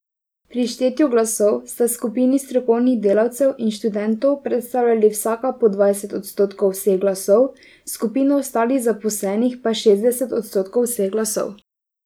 Pri štetju glasov sta skupini strokovnih delavcev in študentov predstavljali vsaka po dvajset odstotkov vseh glasov, skupina ostalih zaposlenih pa šestdeset odstotkov vseh glasov.